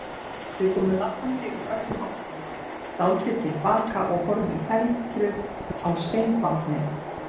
Þau komu labbandi úr öllum áttum, dáldið til baka og horfðu felmtruð á steinbáknið.